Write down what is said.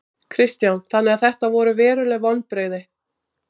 Kristján: Þannig að þetta eru veruleg vonbrigði?